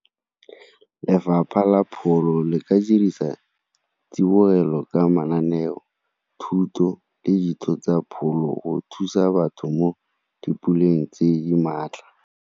Lefapha la pholo le ka dirisa tsibogelo ka mananeo, thuto le ditso tsa pholo go thusa batho mo di puleng tse di maatla.